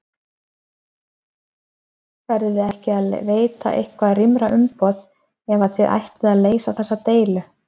Verðiði ekki að veita eitthvað rýmra umboð ef að þið ætlið að leysa þessa deilu?